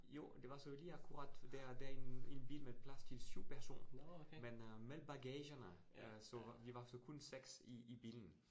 Jo, og der var så lige akkurat, der der en en bil med plads til 7 personer. Men øh med bagagerne øh så vi var så kun 6 i i bilen